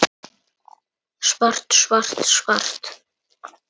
Svart, svart, svart.